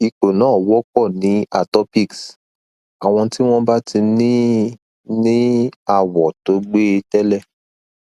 ipo na wopo ni atopics awon ti won ba ti ni ni awo to gbe tele